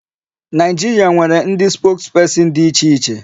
Nigeria nwere ndị spokesperson dị iche iche.